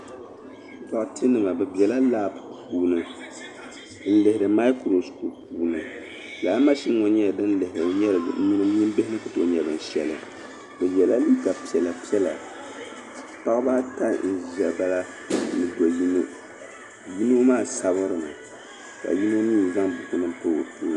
Duɣitenima be bela "lab" puuni n-lihiri "microscope" puuni lala "machine" ŋɔ nyɛla din lihiri nyin bihi ni ku tooi nyɛ shɛli be yela liiga piɛla piɛla paɣaba ata n-ʒiya bala ni do'yino yino maa sabiri mi ka yino mii zaŋ bukunima m-pa o tooni.